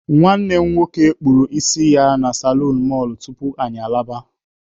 Nwanne m nwoke kpụrụ isi na salonu mọlụ tupu anyị alaba.